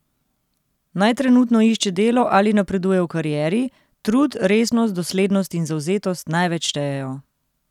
Naj trenutno išče delo ali napreduje v karieri, trud, resnost, doslednost in zavzetost največ štejejo.